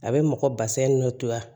A bɛ mɔgɔ basɛn nɔntoya